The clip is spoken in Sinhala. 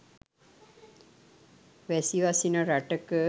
වැසි වසින රටක